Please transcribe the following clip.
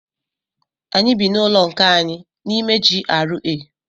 Anyị bị n'ụlọ nke anyị n'ime GRA.